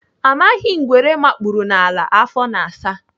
Amaghị ngwere makpuru n'ala afọ na-asa.